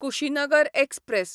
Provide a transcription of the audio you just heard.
Kushinagar express